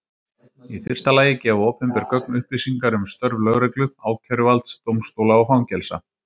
Í fyrsta lagi gefa opinber gögn upplýsingar um störf lögreglu, ákæruvalds, dómstóla og fangelsa.